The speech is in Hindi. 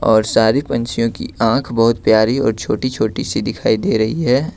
और सारी पंछियों की आंख बहुत प्यारी और छोटी छोटी सी दिखाई दे रही है।